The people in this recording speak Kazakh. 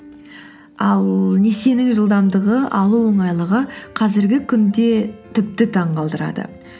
ал несиенің жылдамдығы алу оңайлығы қазіргі күнде тіпті таңғалдырады